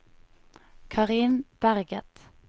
Karin Berget